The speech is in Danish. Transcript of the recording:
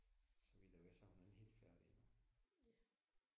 Så vidt jeg ved så er hun ikke helt færdig endnu